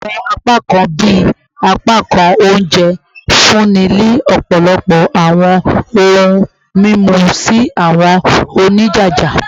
Awọn apakan bii apakan ounjẹ nfunni ni ọpọlọpọ awọn ohun mimu si awọn onijaja